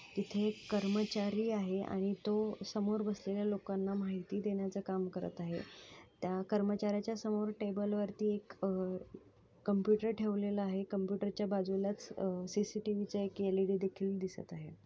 इथे एक कर्मचारी आहे आणि तो समोर बसलेल्या लोकांना माहिती देण्याचं काम करत आहे. त्या कर्मचार्‍याच्या समोर टेबल वरती एक अह- कम्प्युटर ठेवलेला आहे. कम्प्युटर च्या बाजूलाच अह सीसीटीव्ही चा एक एल_ई_डी_ देखील दिसत आहे.